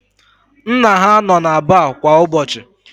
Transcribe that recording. Nna ha nọ na baar kwa ụbọchị.